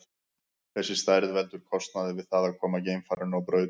Þessi stærð veldur kostnaði við það að koma geimfarinu á braut.